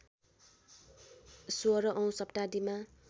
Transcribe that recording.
१६ औँ शताब्दीमा